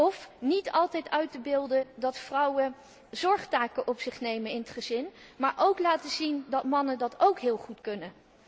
Of niet altijd uit te beelden dat vrouwen zorgtaken op zich nemen in het gezin, maar ook laten zien dat mannen dat ook heel goed kunnen.